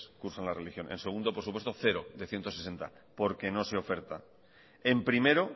cursanla religión en segundo por supuesto cero de ciento sesenta porque no se oferta en primero